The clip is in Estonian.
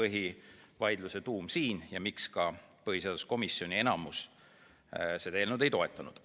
See on selle põhivaidluse tuum ja ka põhjus, miks enamik põhiseaduskomisjoni liikmeid seda eelnõu ei toetanud.